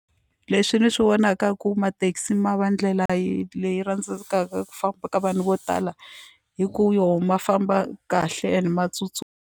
Leswi ndzi swi vonaka ku mathekisi ma va ndlela leyi rhandzekaka ku famba ka vanhu vo tala hi ku yo ma famba kahle and ma .